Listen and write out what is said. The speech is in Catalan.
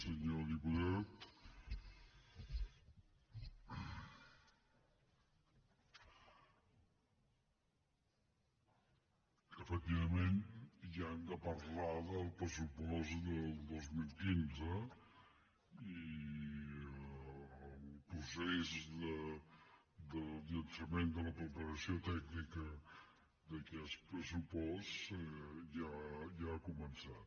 senyor diputat efectivament ja hem de parlar del pressupost del dos mil quinze i el procés de llançament de la preparació tècnica d’aquest pressupost ja ha començat